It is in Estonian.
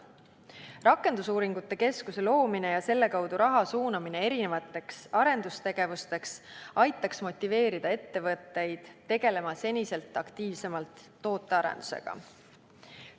Rakendusuuringute keskuse loomine ja selle kaudu raha suunamine erinevateks arendustegevusteks aitaks motiveerida ettevõtteid tegelema senisest aktiivsemalt tootearendusega.